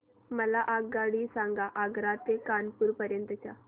मला आगगाडी सांगा आग्रा ते कानपुर पर्यंत च्या